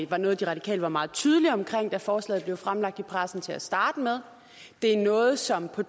var noget de radikale var meget tydelige omkring da forslaget blev fremlagt i pressen til at starte med det er noget som der